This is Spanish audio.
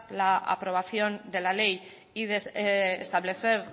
la aprobación de la ley y establecer